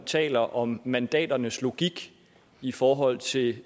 taler om mandaternes logik i forhold til